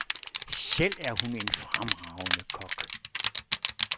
Selv er hun en fremragende kok.